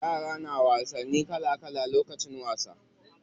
Yara na wasanni kala kala lokacin wasa.